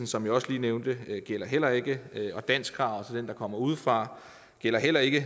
som jeg også lige nævnte gælder heller ikke og danskkravet til den der kommer udefra gælder heller ikke